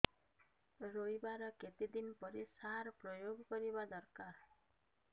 ରୋଈବା ର କେତେ ଦିନ ପରେ ସାର ପ୍ରୋୟାଗ କରିବା ଦରକାର